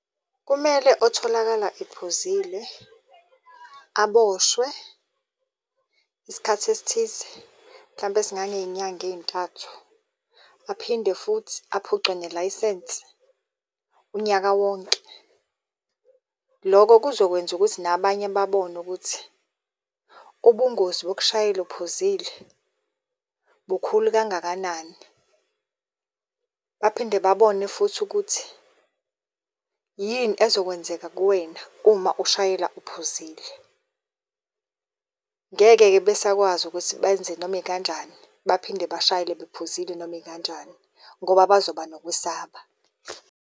Kumele otholakala ephuzile aboshwe isikhathi esithize mhlampe esingangey'nyanga ey'ntathu. Aphinde futhi aphucwe nelayisensi unyaka wonke. Loko kuzokwenza ukuthi nabanye babone ukuthi ubungozi bokushayela uphuzile bukhulu kangakanani, baphinde babone futhi ukuthi yini ezokwenzeka kuwena uma ushayela uphuzile. Ngeke-ke besakwazi ukuthi benze noma ikanjani, baphinde bashayela bephuzile noma ikanjani ngoba bazoba nokwesaba.